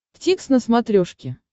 дтикс на смотрешке